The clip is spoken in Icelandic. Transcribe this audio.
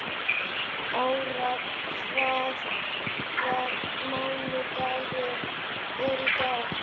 Ára, hvaða mánaðardagur er í dag?